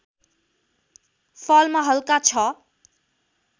फलमा हल्का ६